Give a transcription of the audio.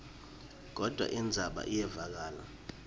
kodvwa indzaba iyevakala